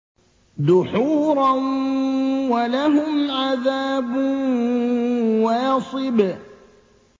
دُحُورًا ۖ وَلَهُمْ عَذَابٌ وَاصِبٌ